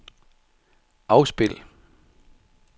afspil